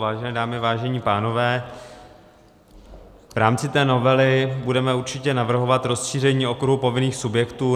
Vážené dámy, vážení pánové, v rámci té novely budeme určitě navrhovat rozšíření okruhu povinných subjektů.